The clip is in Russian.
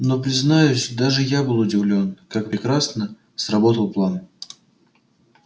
но признаюсь даже я был удивлён как прекрасно сработал план